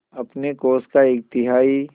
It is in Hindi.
अपने कोष का एक तिहाई